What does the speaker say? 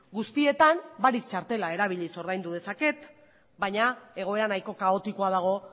guztietan barik txartela erabiliz ordaindu dezaket baina egoera nahiko kaotikoa dago